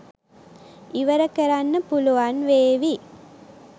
ඉවර කරන්න පුළුවන් වේවි